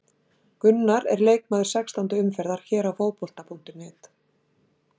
Gunnar er leikmaður sextándu umferðar hér á Fótbolta.net.